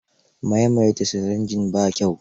Maimaita sirinji ba kyau.